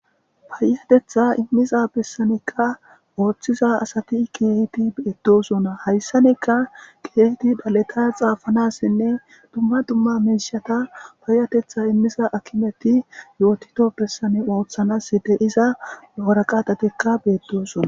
payatetha immiza bessanekka ooththiza asati keehiti beeddosona hayssaneka geeti daleta xaafanassinne dumma dumma menshata payatetha immiza akimeti yootito bessane ooththanas de iza oora qaatatikka beedosona